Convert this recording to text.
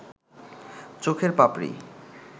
চোখের পাপড়ি